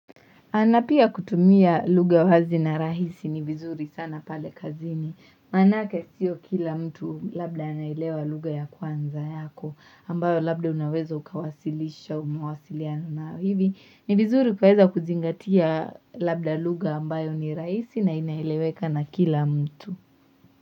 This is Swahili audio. Na pia kutumia lugha wazi na rahisi ni vizuri sana pale kazini. Maanake sio kila mtu labda inailewa lugha ya kwanza yako ambayo labda unaweza ukawasilisha mawasiliano na hivi. Ni vizuri kwaeza kuzingatia labda lugha ambayo ni rahisi na inaeleweka na kila mtu.